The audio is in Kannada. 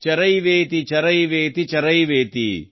ಚರೈವೇತಿ ಚರೈವೇತಿ ಚರೈವೇತಿ